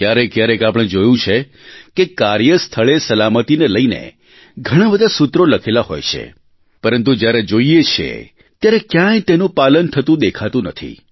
ક્યારેકક્યારેક આપણે જોયું છે કે કાર્ય સ્થળે સલામતીને લઇને ઘણાં બધા સૂત્રો લખેલા હોય છે પરંતુ જ્યારે જોઇએ છીએ ત્યારે ક્યાંય તેનું પાલન થતું દેખાતું નથી